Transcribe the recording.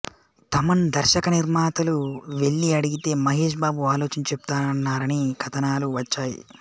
తమన్ దర్శకనిర్మాతలు వెళ్ళి అడిగితే మహేష్ బాబు ఆలోచించి చెప్తానన్నారని కథనాలు వచ్చాయి